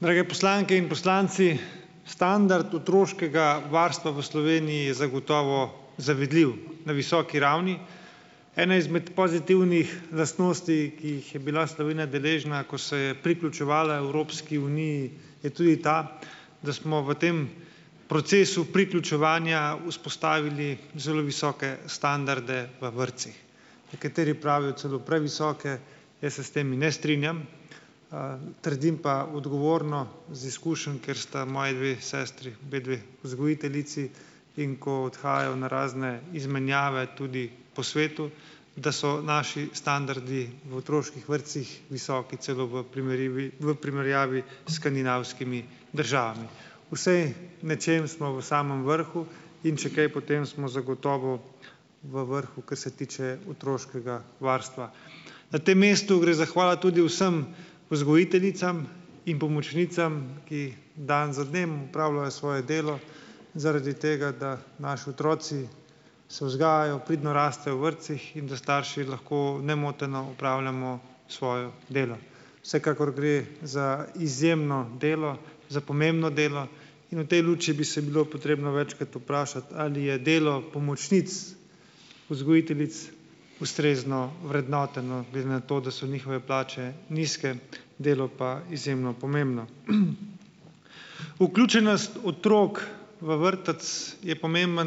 Drage poslanke in poslanci! Standard otroškega varstva v Sloveniji je zagotovo zavidljiv, na visoki ravni. Ena izmed pozitivnih lastnosti, ki jih je bila Slovenija deležna, ko se je priključevala Evropski uniji je tudi ta, da smo v tem procesu priključevanja vzpostavili zelo visoke standarde v vrtcih. Nekateri pravijo celo previsoke. Jaz se s temi ne strinjam, trdim pa, odgovorno iz izkušenj, ker sta moji sestri obe dve vzgojiteljici, in ko odhajajo na razne izmenjave tudi po svetu, da so naši standardi v otroških vrtcih visoki, celo v primerjavi, v primerjavi s skandinavskimi državami. Vsaj v nečem smo v samem vrhu in če kaj, potem smo zagotovo v vrhu, kar se tiče otroškega varstva. Na tem mestu gre zahvala tudi vsem vzgojiteljicam in pomočnicam, ki dan za dnem opravljajo svoje delo zaradi tega, da naši otroci se vzgajajo, pridno rastejo v vrtcih in da starši lahko nemoteno opravljamo svojo delo. Vsekakor gre za izjemno delo, za pomembno delo in v tej luči bi se bilo potrebno večkrat vprašati, ali je delo pomočnic vzgojiteljic ustrezno vrednoteno glede na to, da so njihove plače nizke, delo pa izjemno pomembno. Vključenost otrok v vrtec je pomembna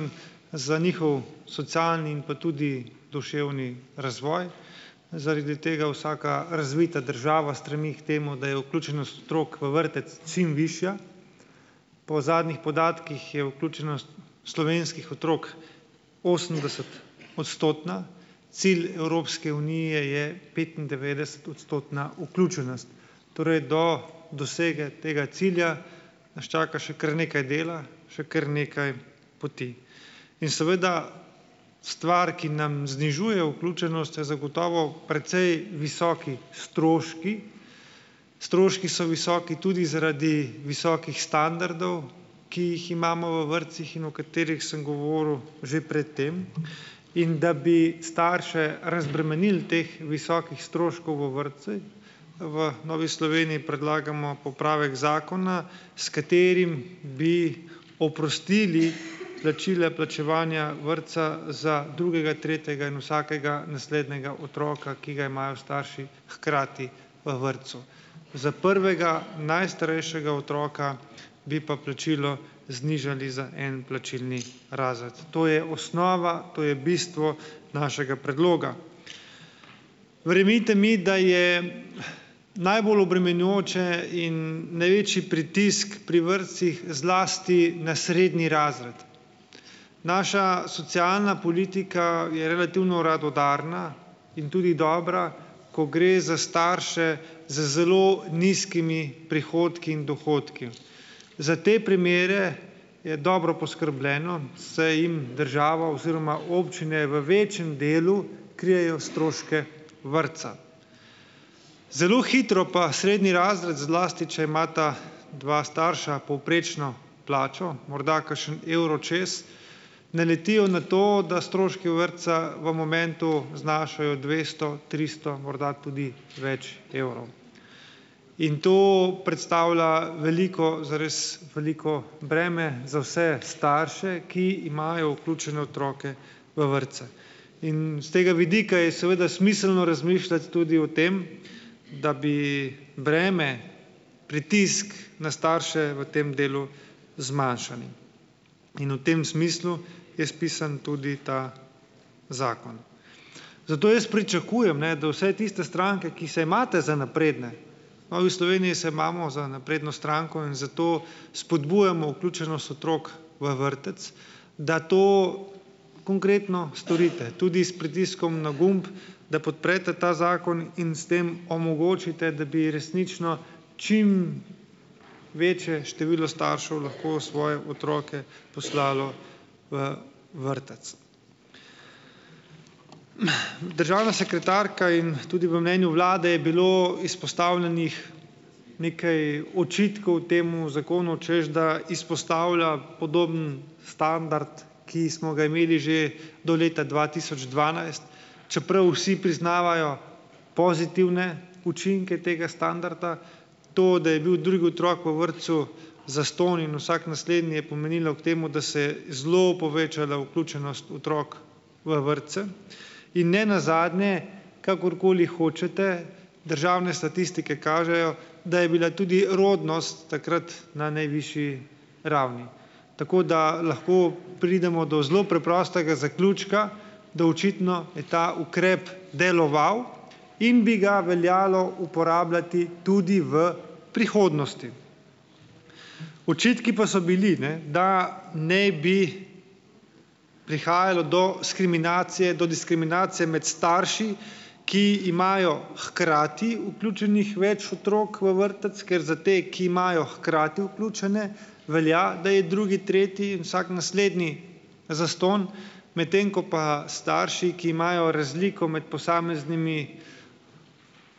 za njihov socialni in pa tudi duševni razvoj. Zaradi tega vsaka razvita država stremi k temu, da je vključenost otrok v vrtec čim višja. Po zadnjih podatkih je vključenost slovenskih otrok osemdeset- odstotna, cilj Evropske unije je petindevetdesetodstotna vključenost. Torej do dosege tega cilja naš čaka še kar nekaj dela, še kar nekaj poti. In seveda stvar, ki nam znižuje vključenost, je zagotovo precej visoki stroški, stroški so visoki tudi zaradi visokih standardov, ki jih imamo v vrtcih in o katerih sem govoril že pred tem. In da bi starše razbremenili teh visokih stroškov v vrtcih, v Novi Sloveniji predlagamo popravek zakona, s katerim bi oprostili plačila, plačevanja vrtca za drugega, tretja in vsakega naslednjega otroka, ki ga imajo starši hkrati v vrtcu. Za prvega, najstarejšega otroka bi pa plačilo znižali za en plačilni razred. To je osnova, to je bistvo našega predloga. Verjemite mi, da je najbolj obremenjujoče in največji pritisk pri vrtcih zlasti na srednji razred. Naša socialna politika je relativno radodarna in tudi dobra, ko gre za starše z zelo nizkimi prihodki in dohodki. Za te primere je dobro poskrbljeno, saj jim država oziroma občine v večjem delu krijejo stroške vrtca. Zelo hitro pa srednji razred, zlasti če imata dva starša povprečno plačo, morda kakšen evro čez, naletijo na to, da stroški vrtca v momentu znašajo dvesto, tristo, morda tudi več evrov. In to predstavlja veliko, zares veliko breme za vse starše, ki imajo vključene otroke v vrtce. In s tega vidika je seveda smiselno razmišljati tudi o tem, da bi breme, pritisk na starše v tem delu zmanjšali. In v tem smislu je spisan tudi ta zakon. Zato jaz pričakujem, ne, da vse tiste stranke, ki se imate za napredne, v Novi Sloveniji se imamo za napredno stranko, in zato spodbujamo vključenost otrok v vrtec, da to konkretno storite tudi s pritiskom na gumb, da podprete ta zakon in s tem omogočite, da bi resnično čim večje število staršev lahko svoje otroke poslalo v vrtec. Državna sekretarka, in tudi v mnenju vlade je bilo izpostavljenih nekaj očitkov temu zakonu, češ da izpostavlja podoben standard, ki smo ga imeli že do leta dva tisoč dvanajst, čeprav vsi priznavajo pozitivne učinke tega standarda. To, da je bil drugi otrok v vrtcu zastonj in vsak naslednji, je pomenilo k temu, da se je zelo povečala vključenost otrok v vrtce. In nenazadnje, kakorkoli hočete, državne statistike kažejo, da je bila tudi rodnost takrat na najvišji ravni. Tako da lahko pridemo do zelo preprostega zaključka, da očitno je ta ukrep deloval in bi ga veljalo uporabljati tudi v prihodnosti. Očitki pa so bili, ne, da ne bi prihajalo do diskriminacije, do diskriminacije med starši, ki imajo hkrati vključenih več otrok v vrtec, ker za te, ki imajo hkrati vključene, velja, da je drugi, tretji in vsak naslednji zastonj, medtem ko pa starši, ki imajo razliko med posameznimi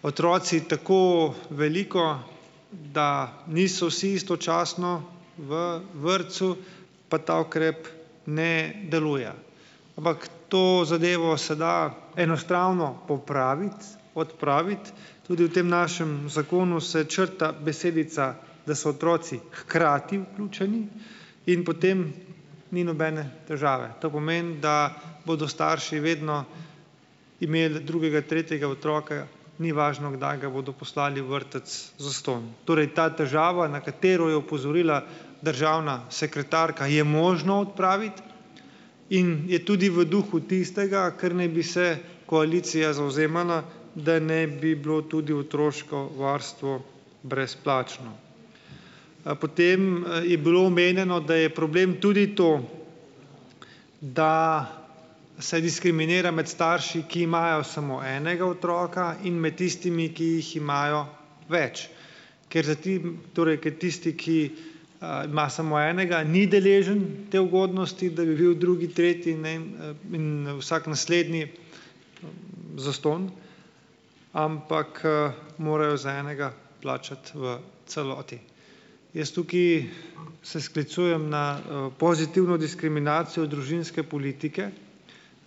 otroci tako veliko, da niso vsi istočasno v vrtcu, pa ta ukrep ne deluje. Ampak to zadevo se da enostavno popraviti, odpraviti. Tudi v tem našem zakonu se črta besedica, da so otroci hkrati vključeni, in potem ni nobene težave. To pomeni, da bodo starši vedno imeli drugega, tretjega otroka, ni važno, kdaj ga bodo poslali v vrtec, zastonj. Torej ta težava, na katero je opozorila državna sekretarka, je možno odpraviti in je tudi v duhu tistega, kar naj bi se koalicija zavzemala, da naj bi bilo tudi otroško varstvo brezplačno. Potem je bilo omenjeno, da je problem tudi to, da se diskriminira med starši, ki imajo samo enega otroka, in med tistimi, ki jih imajo več, ker zdaj ti, torej ker tisti, ki ima samo enega, ni deležen te ugodnosti, da bi bil drugi, tretji in ne vem, in, vsak naslednji zastonj. Ampak, morajo za enega plačati v celoti. Jaz tukaj se sklicujem na, pozitivno diskriminacijo družinske politike.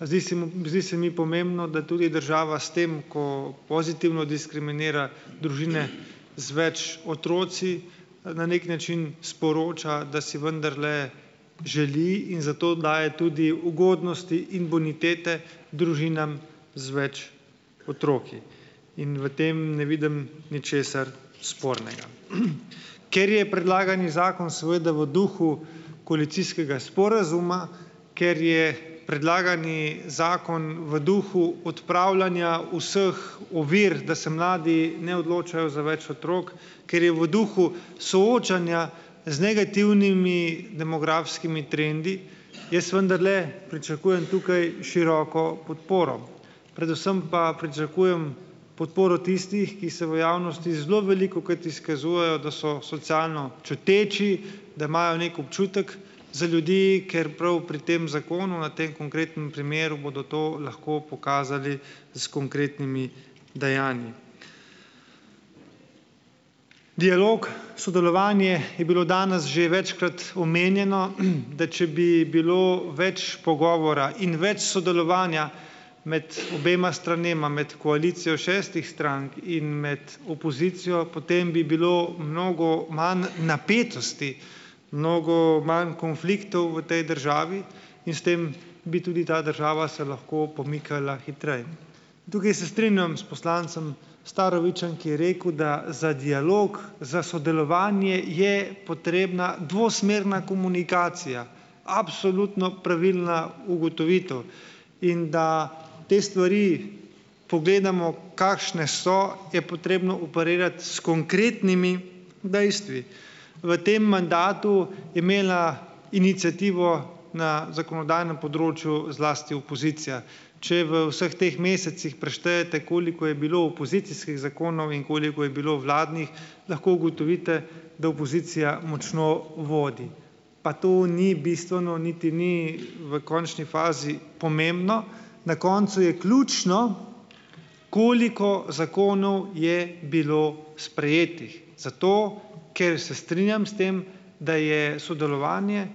Zdi se mi, zdi se mi pomembno, da tudi država s tem, ko pozitivno diskriminira družine z več otroki, na neki način sporoča, da si vendarle želi in zato daje tudi ugodnosti in bonitete družinam z več otroki. In v tem ne vidim ničesar spornega. Ker je predlagani zakon seveda v duhu koalicijskega sporazuma, ker je predlagani zakon v duhu odpravljanja vseh ovir, da se mladi ne odločajo za več otrok, ker je v duhu soočanja z negativnimi demografskimi trendi, jaz vendarle pričakujem tukaj široko podporo. Predvsem pa pričakujem podporo tistih, ki se v javnosti zelo velikokrat izkazujejo, da so socialno čuteči, da imajo neki občutek za ljudi, ker prav pri tem zakonu, na tem konkretnem primeru, bodo to lahko pokazali s konkretnimi dejanji. Dialog, sodelovanje je bilo danes že večkrat omenjeno, da če bi bilo več pogovora in več sodelovanja med obema stranema, med koalicijo šestih strank in med opozicijo, potem bi bilo mnogo manj napetosti. Mnogo manj konfliktov v tej državi. In s tem bi tudi ta država se lahko pomikala hitreje. In tukaj se strinjam s poslancem Starovićem, ki je rekel, da za dialog, za sodelovanje je potrebna dvosmerna komunikacija. Absolutno pravilna ugotovitev. In da te stvari pogledamo, kakšne so, je potrebno operirati s konkretnimi dejstvi. V tem mandatu je imela iniciativo na zakonodajnem področju zlasti opozicija. Če v vseh teh mesecih preštejete, koliko je bilo opozicijskih zakonov in koliko je bilo vladnih, lahko ugotovite, da opozicija močno vodi. Pa to ni bistveno, niti ni v končni fazi pomembno. Na koncu je ključno, koliko zakonov je bilo sprejetih. Zato ker se strinjam s tem, da je sodelovanje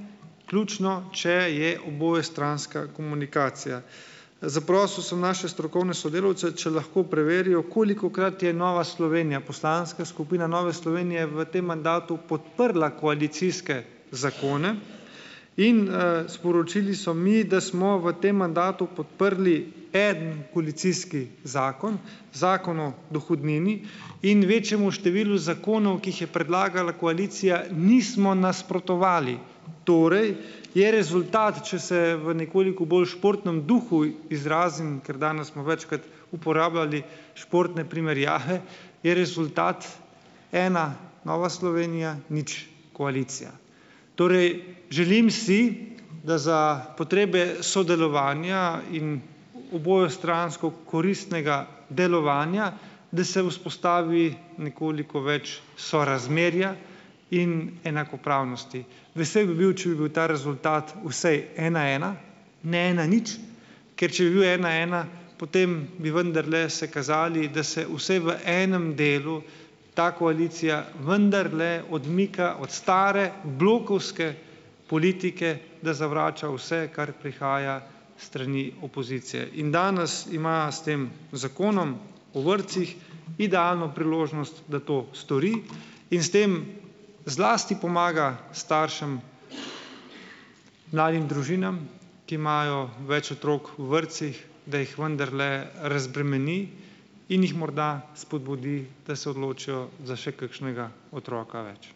ključno, če je obojestranska komunikacija. Zaprosil sem naše strokovne sodelavce, če lahko preverijo, kolikokrat je Nova Slovenija, poslanska skupina Nove Slovenije v tem mandatu podprla koalicijske zakone. In, sporočili so mi, da smo v tem mandatu podprli eden koalicijski zakon, Zakon o dohodnini, in večjemu številu zakonov, ki jih je predlagala koalicija, nismo nasprotovali. Torej je rezultat, če se v nekoliko bolj športnem duhu izrazim - ker danes smo večkrat uporabljali športne primerjave - je rezultat ena - Nova Slovenija : nič - koalicija. Torej, želim si, da za potrebe sodelovanja in obojestransko koristnega delovanja, da se vzpostavi nekoliko več sorazmerja in enakopravnosti. Vesel bi bil, če bi bil ta rezultat vsaj ena : ena, ne ena : nič, ker če bi bil ena : ena, potem bi vendarle se kazali, da se vsaj v enem delu ta koalicija vendarle odmika od stare blokovske politike, da zavrača vse, kar prihaja s strani opozicije. In danes ima s tem Zakonom o vrtcih idealno priložnost, da to stori, in s tem zlasti pomaga staršem, mladim družinam, ki imajo več otrok v vrtcih, da jih vendarle, razbremeni in jih morda spodbudi, da se odločijo za še kakšnega otroka več.